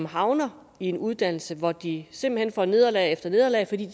havner i en uddannelse hvor de simpelt hen får nederlag efter nederlag fordi